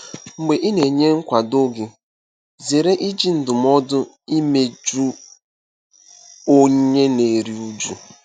Mgbe ị na-enye nkwado gị, zere iji ndụmọdụ imeju onye na-eru uju.